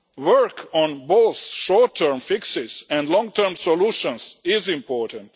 Work on both short term fixes and long term solutions is important.